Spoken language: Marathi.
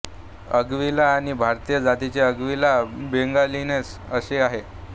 एंग्विला आणि भारतीय जातीचे एंग्विला बेंगालेन्सिस असे आहे